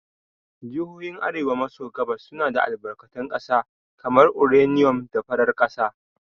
Jihohin arewa maso gabas suna da albarkatun ƙasa kamar uranium da farar ƙasa.